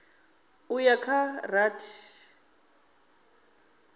u ya kha dza rathi